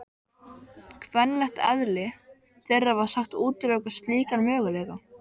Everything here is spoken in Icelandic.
Kvenlegt eðli þeirra var sagt útiloka slíkan möguleika.